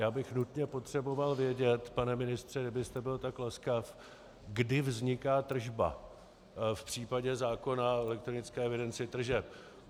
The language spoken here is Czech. Já bych nutně potřeboval vědět, pane ministře, kdybyste byl tak laskav, kdy vzniká tržba v případě zákona o elektronické evidenci tržeb.